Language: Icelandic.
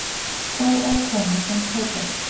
Sá á konu sem kaupir.